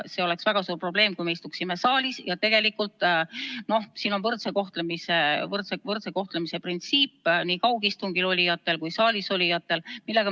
See oleks väga suur probleem, kui me istuksime saalis, ja tegelikult me peaksime arvestama võrdse kohtlemise printsiipi nii kaugistungil olijate kui saalis olijate puhul.